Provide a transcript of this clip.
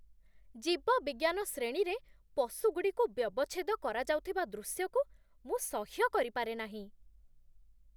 ଜୀବବିଜ୍ଞାନ ଶ୍ରେଣୀରେ ପଶୁଗୁଡ଼ିକୁ ବ୍ୟବଚ୍ଛେଦ କରାଯାଉଥିବା ଦୃଶ୍ୟକୁ ମୁଁ ସହ୍ୟ କରିପାରେ ନାହିଁ।